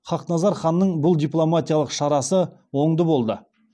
хақназар ханның бұл дипломатиялық шарасы оңды болды